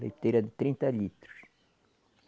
Leiteira de trinta litros.